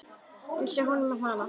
Einsog honum um hana.